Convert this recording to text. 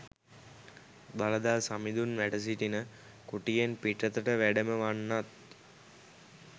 දළදා සමිඳුන් වැඩසිටින කුටියෙන් පිටතට වැඩම වන්නත්